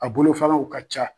A bolofanaw ka ca